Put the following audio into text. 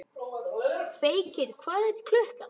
Feykir, hvað er klukkan?